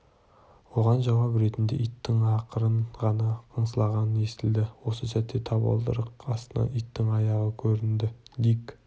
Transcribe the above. оған жауап ретінде иттің ақырын ғана қыңсылағаны естілді осы сәтте табалдырық астынан иттің аяғы көрінді дик